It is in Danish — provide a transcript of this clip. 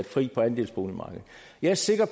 vi er sikre